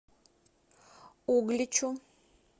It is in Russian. угличу